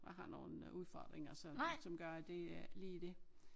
Jeg har nogle udfordringer så som gør at det er ikke lige det